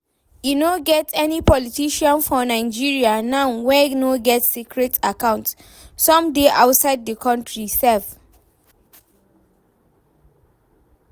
E no get any politician for Nigeria now wey no get secret account, some dey outside the country sef